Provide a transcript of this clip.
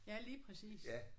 Ja lige præcis